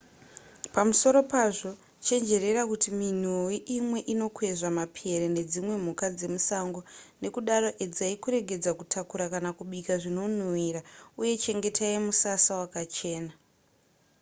pamusoro pazvo chenjerera kuti minhuwi imwe inokwezva mapere nedzimwe mhuka dzemusango nekudaro edzai kuregedza kutakura kana kubika zvinonhuwira uye chengetai musasa wakachena